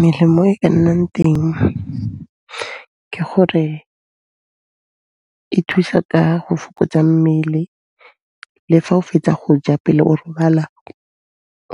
Melemo e ka nnang teng ke gore e thusa ka go fokotsa mmele le fa o fetsa go ja pele o robala